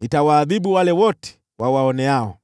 nitawaadhibu wale wote wawaoneao.